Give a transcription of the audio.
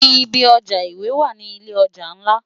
Ibi òjá iwé wá ni ilé òjá nlá